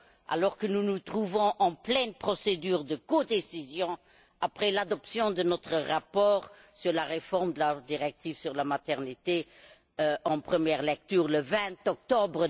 alors que nous nous trouvons en pleine procédure de codécision après l'adoption de notre rapport sur la réforme de la directive sur le congé de maternité en première lecture, le 20 octobre